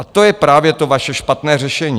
A to je právě to vaše špatné řešení.